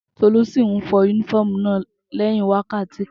Tolú sí nfọ únífọ̀mù náà lẹyìn wákàtí kan